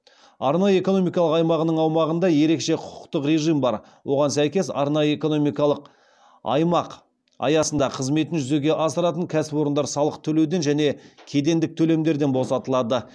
арнайы экономикалық аймағының аумағында ерекше құқықтық режим бар оған сәйкес арнайы экономикалық аймақ аясында қызметін жүзеге асыратын кәсіпорындар салық төлеуден және кедендік төлемдерден босатылады